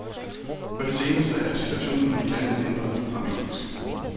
På det seneste er situationen i landet ændret dramatisk.